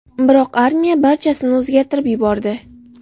Biroq armiya barchasini o‘zgartirib yubordi.